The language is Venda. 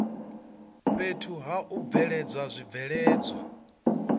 fhethu ha u bveledza zwibveledzwa